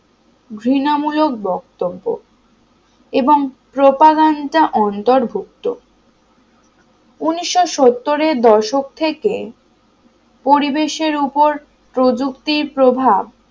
ঘৃণমূলক বক্তব্য এবং propaganda অন্তর্ভুক্ত উনিশ সত্তর এর দশক থেকে পরিবেশের উপর প্রযুক্তির প্রভাব